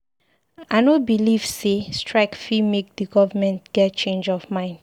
I no beliv sey strike fit make di government get change of mind.